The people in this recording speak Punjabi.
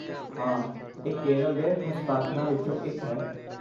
ਹਾਂ, ਇਹ ਕੇਰਲ ਦੇ ਹਸਤਾਖਰਾਂ ਵਿੱਚੋਂ ਇੱਕ ਹੈ।